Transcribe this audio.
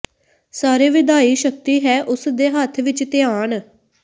ਸਾਰੇ ਵਿਧਾਈ ਸ਼ਕਤੀ ਹੈ ਉਸ ਦੇ ਹੱਥ ਵਿੱਚ ਧਿਆਨ